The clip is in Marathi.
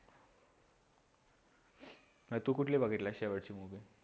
तू कुठली बघितला शेवटची movie